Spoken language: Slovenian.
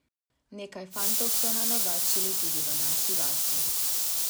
Nekaj fantov so nanovačili tudi v naši vasi.